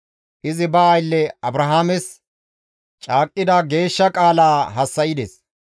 Izi ba aylle Abrahaames caaqqida geeshsha qaala hassa7ides.